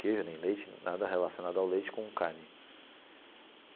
Queijo, nem leite, nada relacionado ao leite com carne.